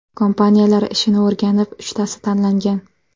Kompaniyalar ishini o‘rganib, uchtasi tanlangan.